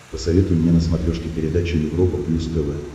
посоветуй мне на смотрешке передачу европа плюс тв